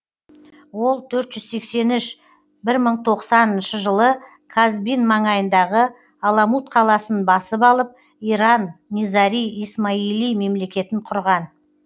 ол төрт жүз сексен үш бір мың тоғыз жүз тоқсаныншы жылы казбин маңайындағы аламут қаласын басып алып иран низари исмаили мемлекетін құрған